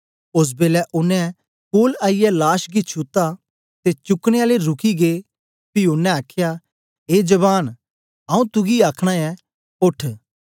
ओस बेलै ओनें कोल आईयै लाश गी छुत्ता ते चुकनें आलें रुकी गै पी ओनें आखया ए जवान आऊँ तुगी आखना ऐं ओठ